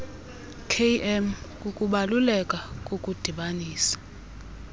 km kukubaluleka kokudibanisa